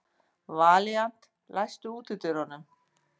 Valíant, læstu útidyrunum.